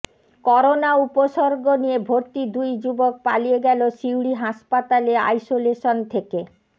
corona উপসর্গ নিয়ে ভর্তি দুই যুবক পালিয়ে গেল সিউড়ি হাসপাতালে আইসোলেশন থেকে